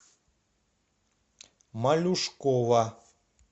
малюшкова